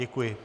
Děkuji.